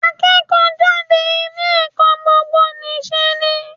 Akẹ́kọ̀ọ́ jáde ilé ẹ̀kọ́ gbogbo nì ṣe ni.